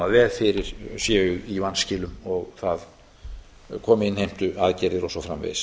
ef fyrir séu í vanskilum og það komi innheimtuaðgerða og svo framvegis